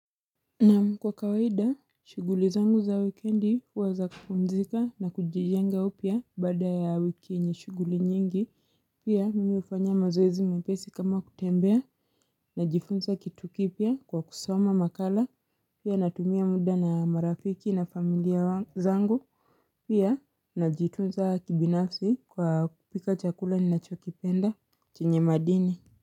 Naam kwa kawaida shuguli zangu za wikendi huwa za kupumzika na kujijenga upia bada ya wiki yenye shuguli nyingi pia mimi hufanya mazoezi mepesi kama kutembea na jifunza kitu kipia kwa kusoma makala pia natumia muda na marafiki na familia zangu pia na jitunza kibinafsi kwa kupika chakula ni nacho kipenda chenye madini.